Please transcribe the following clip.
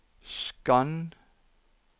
skann